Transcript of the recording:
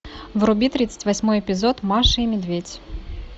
вруби тридцать восьмой эпизод маша и медведь